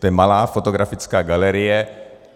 To je malá fotografická galerie.